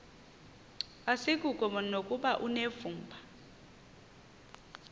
asikuko nokuba unevumba